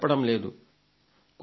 కొంత వరకైనా దీనిని ఆదరించండి